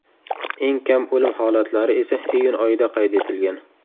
Eng kam o‘lim holatlari esa iyun oyida qayd etilgan.